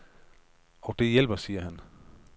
Og det hjælper, siger han.